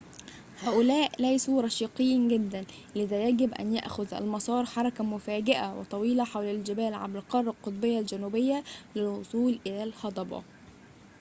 هؤلاء ليسوا رشيقين جدًا لذا يجب أن يأخذ المسار حركة مفاجئة وطويلة حول الجبال عبر القارة القطبية الجنوبية للوصول إلى الهضبة